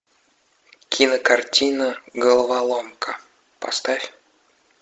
кинокартина головоломка поставь